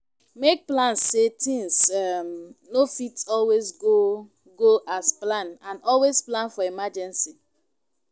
make plans sey things um no fit always go go as planned and always plan for emergency